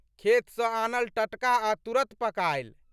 खेतसँ आनल टटका आ तुरत पकायल।